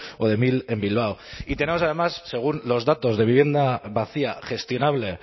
o de mil en bilbao y tenemos además según los datos de vivienda vacía gestionable